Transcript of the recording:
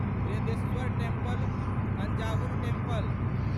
Brihadeeswarar temple Thanjavur temple